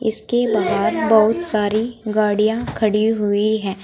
इसके बाद बहुत सारी गाड़ियां खड़ी हुई है।